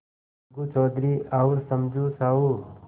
अलगू चौधरी और समझू साहु